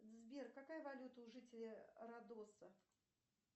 сбер какая валюта у жителей родоса